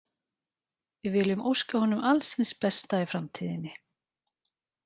Við viljum óska honum alls hins besta í framtíðinni.